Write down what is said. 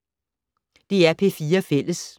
DR P4 Fælles